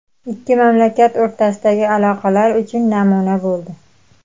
ikki mamlakat o‘rtasidagi aloqalar uchun namuna bo‘ldi.